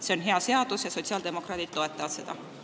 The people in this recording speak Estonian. See on hea seaduseelnõu ja sotsiaaldemokraadid toetavad seda.